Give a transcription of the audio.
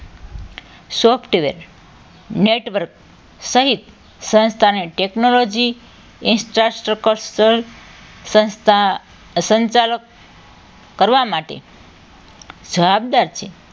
network સહિત સંસ્થા અને technology infrastructure સંસ્થા સંચાલક કરવા માટે જવાબદાર છે